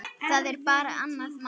Það er bara annað mál.